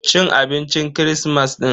Cin abincin kirismas din.